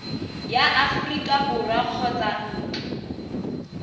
ya aforika borwa kgotsa ntlo